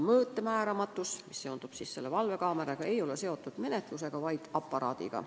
Valvekaamera mõõtmistulemuse määramatus ei ole seotud menetlusega, vaid aparaadiga.